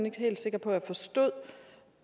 ikke helt sikker på